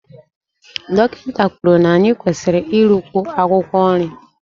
Dọkịta kwuru na anyị kwesịrị irikwu akwụkwọ nri